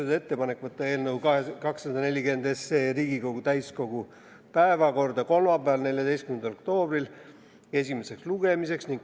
Tehti ettepanek võtta eelnõu 240 Riigikogu täiskogu päevakorda kolmapäeval, 14. oktoobril esimeseks lugemiseks.